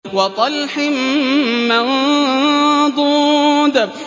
وَطَلْحٍ مَّنضُودٍ